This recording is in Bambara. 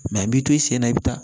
a b'i to i sen na i bɛ taa